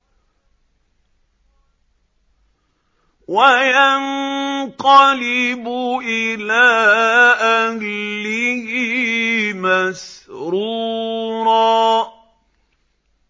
وَيَنقَلِبُ إِلَىٰ أَهْلِهِ مَسْرُورًا